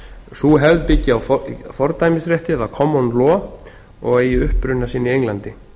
sú hefð byggi á fordæmisrétti eða common law og eigi uppruna sinn í englandi